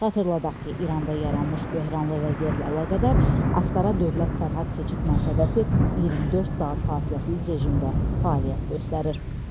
Xatırladaq ki, İranda yaranmış böhranlı vəziyyətlə əlaqədar Astara dövlət sərhəd keçid məntəqəsi 24 saat fasiləsiz rejimdə fəaliyyət göstərir.